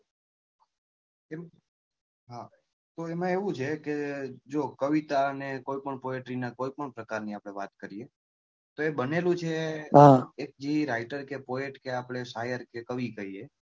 તો એમાં એવું છે કે જો કવિતા ને કોઈ પણ poetry નાં કોઈ પણ પ્રકાર ની આપડે વાત કરીએ તો એ બનેલું છે કે એ writer કે poet કે આપડે શાયર કે કવિ કહીએ.